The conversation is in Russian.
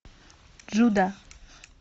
джуда